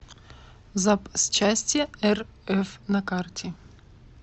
запсчастьерф на карте